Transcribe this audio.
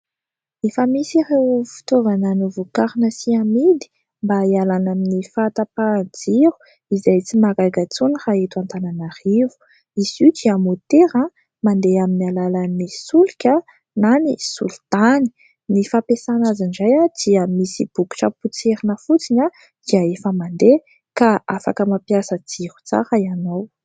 Efa misy ireo fitaovana novokarina sy amidy mba hialana amin'ny fahatapahan-jiro izay tsy mahagaga intsony raha eto Antananarivo. Izy io dia motera mandeha amin'ny alalan'ny solika na ny solitany. Ny fampiasana azy indray dia misy bokitra potserina fotsiny dia efa mandeha ka afaka mampiasa jiro tsara ianao.